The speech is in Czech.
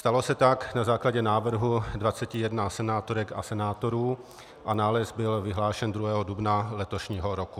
Stalo se tak na základě návrhu 21 senátorek a senátorů a nález byl vyhlášen 2. dubna letošního roku.